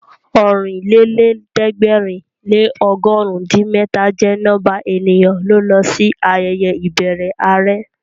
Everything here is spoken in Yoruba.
Ọ̀rìnlẹ́lẹ̀ẹ́dẹ̀gbẹ̀rin lé ọgọ̀run din mẹ́ta jẹ́ nọ́mbà ènìyàn ló lọ sí ayẹyẹ ìbẹrẹ are